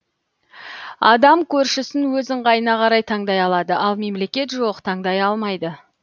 адам көршісін өз ыңғайына қарай таңдай алады ал мемлекет жоқ таңдай амайды